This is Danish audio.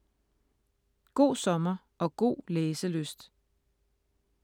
God sommer og god læselyst.